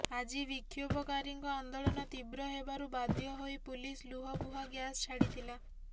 ଆଜି ବିକ୍ଷୋଭକାରୀଙ୍କ ଆନ୍ଦୋଳନ ତୀବ୍ର ହେବାରୁ ବାଧ୍ୟ ହୋଇ ପୁଲିସ ଲୁହବୁହା ଗ୍ୟାସ ଛାଡିଥିଲା